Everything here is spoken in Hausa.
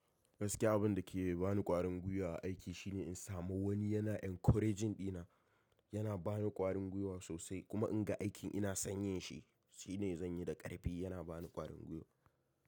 Gaskiya abin da ke ba ni ƙwarin gwiwa a aiki shine in samu wani yana encouraging dina, yana ba ni ƙwarin gwiwa sosai kuma in ga aikin ina sanyin shi shine zan yi da ƙarfi, yana ba ni ƙwarin gwiwa.